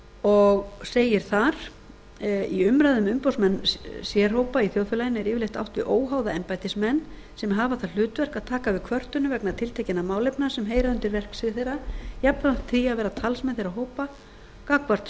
og segir þar í umræðu um umboðsmenn sérhópa í þjóðfélaginu er yfirleitt átt við óháða embættismenn sem hafa það hlutverk að taka við kvörtunum vegna tiltekinna málefna sem heyra undir verksvið þeirra jafnframt því að vera talsmenn þeirra hópa gagnvart